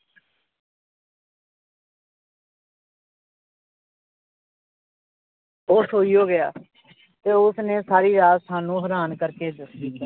ਉਹ ਸੋਈਓ ਗਿਆ ਤੇ ਉਸਨੇ ਸਾਰੀ ਰਾਤ ਸਾਨੂੰ ਹੈਰਾਨ ਕਰਕੇ